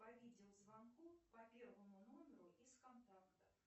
по видеозвонку по первому номеру из контакта